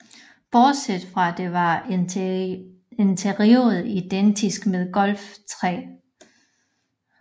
Bortset fra dette var interiøret identisk med Golf III